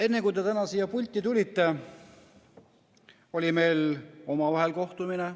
Enne, kui te täna siia pulti tulite, oli meil omavahel kohtumine.